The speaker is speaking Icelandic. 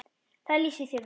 Það lýsir þér vel.